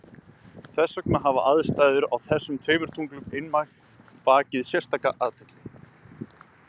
þess vegna hafa aðstæður á þessum tveimur tunglum einmitt vakið sérstaka athygli